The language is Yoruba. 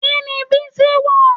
Kini bísí wọ̀?